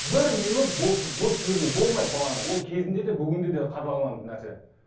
бір минут бос жіберуге болмайды баланы ол кезінде де бүгінде де қадағаланатын нәрсе